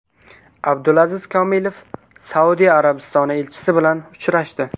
Abdulaziz Komilov Saudiya Arabistoni elchisi bilan uchrashdi.